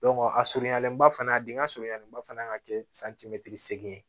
a surunyalen ba fana a dingɛ surunyalenba fana ka kɛ segin ye